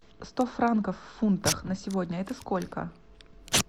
сто франков в фунтах на сегодня это сколько